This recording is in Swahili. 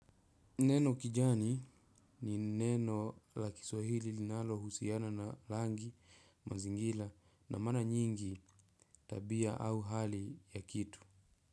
Neno kijani ni neno la kiswahili linalo husiana na langi, mazingila na mara nyingi tabia au hali ya kitu.